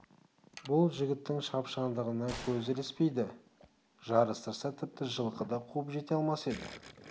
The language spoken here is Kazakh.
бұл жігіттің шапшаңдығына көз ілеспейді жарыстырса тіпті жылқы да қуып жете алмас еді